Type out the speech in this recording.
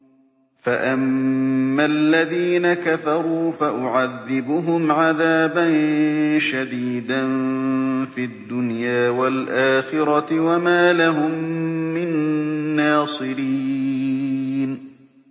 فَأَمَّا الَّذِينَ كَفَرُوا فَأُعَذِّبُهُمْ عَذَابًا شَدِيدًا فِي الدُّنْيَا وَالْآخِرَةِ وَمَا لَهُم مِّن نَّاصِرِينَ